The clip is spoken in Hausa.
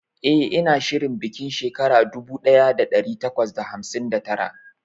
eh ina shirin bikin shekara dubu daya da dari takwas da hamsin da tara